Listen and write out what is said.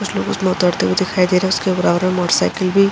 कुछ लोग उसमे उतरते हुए दिखाई दे रहे है उसके बराबर में मोटरसायकिल भी --